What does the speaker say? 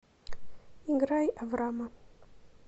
играй аврама